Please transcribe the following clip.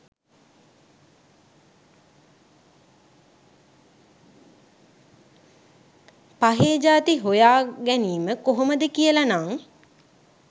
පහේ ජාති හොයා ගැනීම කොහොමද කියලනං